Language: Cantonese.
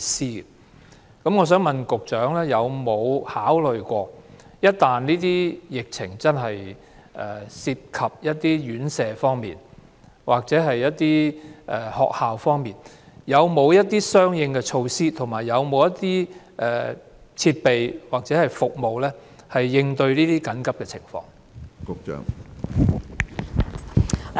就此，我想問局長：有沒有考慮一旦疫情涉及院舍或學校，當局會採取甚麼相應措施、設備或服務應對這些緊急情況呢？